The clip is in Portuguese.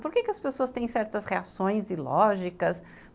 Por que as pessoas têm certas reações ilógicas?